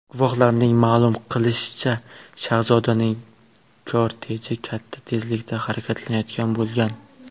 Guvohlarning ma’lum qilishicha, shahzodaning korteji katta tezlikda harakatlanayotgan bo‘lgan.